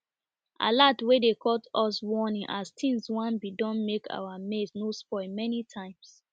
alert wey dey cut us warning as tings wan be don make our maize no spoil many times